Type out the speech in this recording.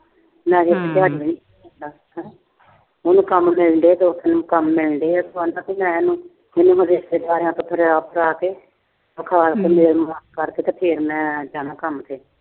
ਉਹੀ ਕੰਮ ਦਿੰਦੇ ਆ ਤੇ ਉਹੀ ਕੰਮ ਲੈਂਦੇ ਆ ਤਾਂ ਕੋਈ ਹੈ ਨੀ। ਰਿਸ਼ਤੇਦਾਰੀਆਂ ਚ ਫਿਰੀਆਂ ਆਪ ਕਰਾ ਕੇ। ਕਰਕੇ ਤੇ ਫਿਰ ਜਾਣਾ ਕੰਮ ਤੇ।